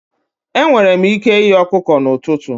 Enwere m ike ighe ọkụkọ n'ụtụtụ.